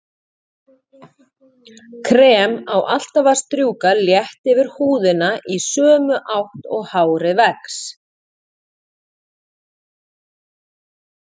Krem á alltaf að strjúka létt yfir húðina í sömu átt og hárið vex.